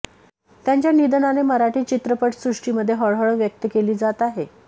त्यांच्या निधनाने मराठी चित्रपटसृष्टीमध्ये हळहळ व्यक्त केली जात आहे